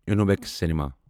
اِنوویکسِ cinema